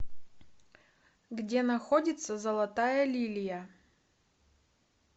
где находится золотая лилия